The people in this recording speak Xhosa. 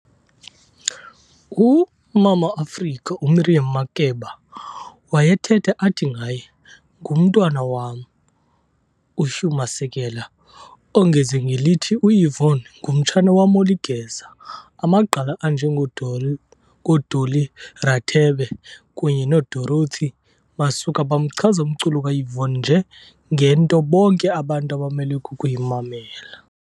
U"Mama Africa", uMiriam Makeba wayethetha athi ngaye "Ngumntwana wam!", uHugh Masekela ongeze ngelithi uYvonne ng"umtshana wam oligeza". Amagqala anje ngoDolly Rathebe kunye noDorothy Masuka bamchaza umculo kaYvonne nje "ngento bonke abantu abamelwe kukuyimanmela".